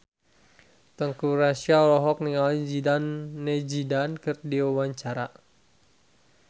Teuku Rassya olohok ningali Zidane Zidane keur diwawancara